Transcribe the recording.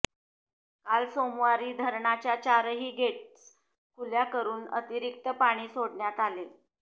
काल सोमवारी धरणाच्या चारही गेटस् खुल्या करुन अतिरिक्त पाणी सोडण्यात आले